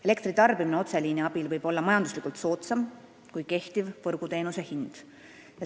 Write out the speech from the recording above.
Elektri tarbimine otseliini abil võib olla majanduslikult soodsam kui kehtiv võrguteenuse hind.